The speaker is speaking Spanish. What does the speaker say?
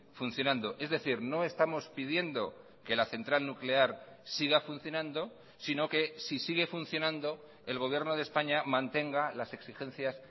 funcionando es decir no estamos pidiendo que la central nuclear siga funcionando sino que si sigue funcionando el gobierno de españa mantenga las exigencias